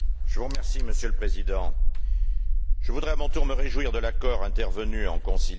Monsieur le Président, je voudrais à mon tour me réjouir de l'accord intervenu en conciliation.